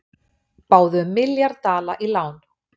Báðu um milljarð dala í lán